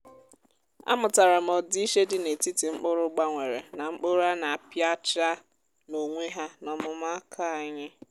amụtara m ọdịiche dị n’etiti mkpụrụ gbanwere na mkpụrụ a na-apịacha n’onwe ha n’ọmụmụ aka anyị.